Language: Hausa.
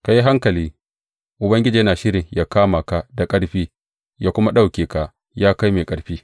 Ka yi hankali, Ubangiji yana shirin ya kama ka da ƙarfi ya kuma ɗauke ka, ya kai mai ƙarfi.